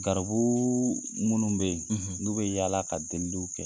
Garibu minnu bɛ yen n'u bɛ yaala ka deliliw kɛ